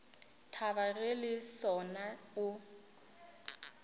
thaba ge le sona o